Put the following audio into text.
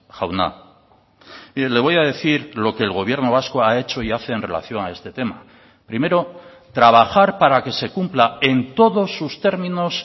jauna mire le voy a decir lo que el gobierno vasco ha hecho y hace en relación a este tema primero trabajar para que se cumpla en todos sus términos